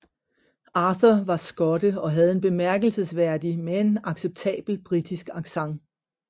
Arthur var skotte og havde en bemærkelsesværdig men acceptabel britisk accent